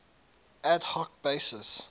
ad hoc basis